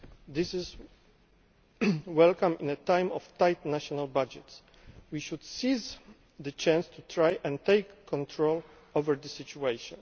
This is welcome at a time of tight national budgets. We should seize the chance to try and take control of the situation.